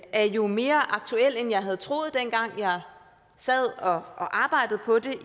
er jo mere aktuel end jeg troede dengang jeg sad og arbejdede på det